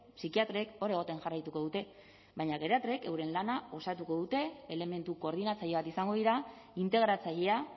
psikiatrek hor egoten jarraituko dute baina geriatrek euren lana osatuko dute elementu koordinatzaile bat izango dira integratzailea